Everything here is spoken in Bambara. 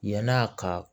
Yann'a ka